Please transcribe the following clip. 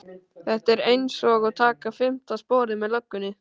Þetta er einsog að taka fimmta sporið með löggunni